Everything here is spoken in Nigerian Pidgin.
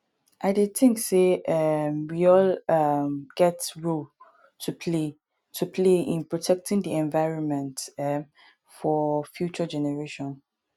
i dey think say um we all um get role to play to play in protecting di environment um for future generations